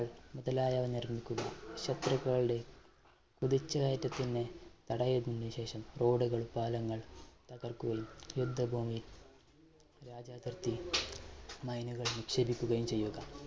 മുതലായവ നിർമ്മിക്കുക ശത്രുക്കളുടെ കുതിച്ചു കയറ്റത്തിന് തട ഇട്ടതിനുശേഷം road കൾ, പാലങ്ങൾ തകർക്കുകയും യുദ്ധഭൂമി രാജ്യാതിർത്തി mine കൾ നിക്ഷേപിക്കുകയും ചെയ്യുക.